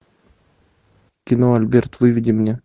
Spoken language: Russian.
кино альберт выведи мне